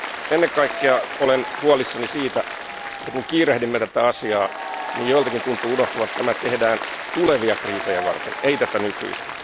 Ennen kaikkea olen huolissani siitä, että kun kiirehdimme tätä asiaa, joiltakin tuntuu unohtuvan, että tämä tehdään tulevia kriisejä varten, ei tätä nykyistä.